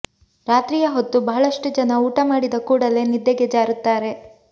ರಾತ್ರಿಯ ಹೊತ್ತು ಬಹಳಷ್ಟು ಜನ ಊಟ ಮಾಡಿದ ಕೂಡಲೇ ನಿದ್ದೆಗೆ ಜಾರುತ್ತಾರೆ